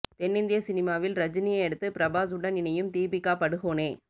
தென்னிந்திய சினிமாவில் ரஜினியை அடுத்து பிரபாஸ் உடன் இணையும் தீபிகா படுகோனே